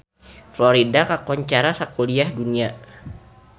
Florida kakoncara sakuliah dunya